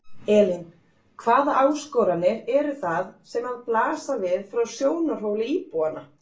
Elín: Hvaða áskoranir eru það sem að blasa við frá sjónarhóli íbúanna?